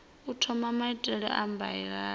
u thoma maitele a mbilaelo